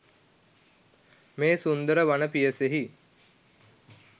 මේ සුන්දර වන පියසෙහි